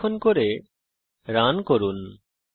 সংরক্ষণ করে রান করুন